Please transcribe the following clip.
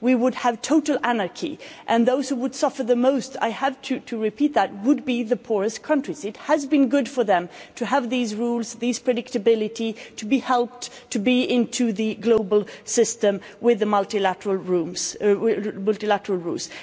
We would have total anarchy and those who would suffer the most, I have to repeat that, would be the poorest countries. It has been good for them to have these rules, this predictability, to be helped, to be inside the global system with the multilateral rules,